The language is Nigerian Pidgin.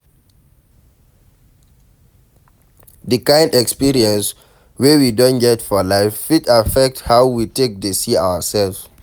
Di kind experience wey we don get for life fit affect how we take dey see ourself